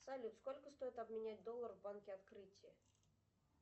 салют сколько стоит обменять доллар в банке открытие